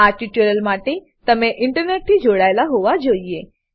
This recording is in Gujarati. આ ટ્યુટોરીયલ માટે તમે ઇન્ટરનેટથી જોડાયેલા હોવા જોઈએ